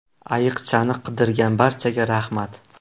Ayiqchani qidirgan barchaga rahmat.